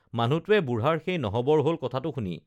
মানুহটোৱে বুঢ়াৰ সেই নহবৰ হল কথাটো শুনি